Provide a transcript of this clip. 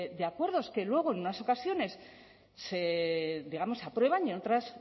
de acuerdos que luego en unas ocasiones se digamos aprueban y en otras